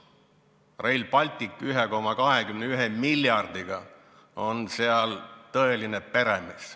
Rail Baltic oma 1,21 miljardiga on seal tõeline peremees.